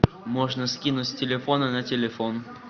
можно скинуть с телефона на телефон